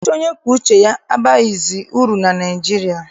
Ọchịchị onye kwue uche abaghịzi uru na Naịjirịa.